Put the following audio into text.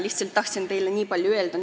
Lihtsalt tahtsin teile nii paljut öelda.